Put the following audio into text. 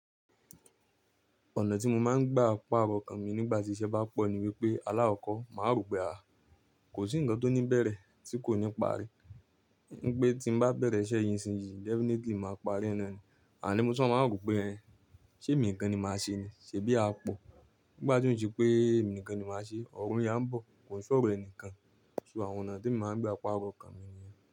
Ọ̀nà tí mo máa ń gba pàrọ̀ nnkàn mí nígbà tí iṣẹ́ bá pọ̀ ni wípé alàkọ̀kọ́ máa rò pé à, kò sí ǹkan tó ní bẹ̀rẹ̀ tí kò ní parí. Ní pé tí mo bá bẹ̀rẹ̀ iṣẹ́ yi nṣin yìí definitely màá parí i. Àní mo tun máa rò pé ẹ, ṣé èmi nìkan ni màá ṣe ni? Ṣèbí a pọ̀? Nígbà tí ó ń se pé èmi nìkan ni màá ṣe, ọ̀run ya bọ̀ ki se ọ̀rọ̀ ẹnìkan. So àwọn ọ̀nà tí mo máa ń gba pàrọ̀ okan mí niyẹ́n.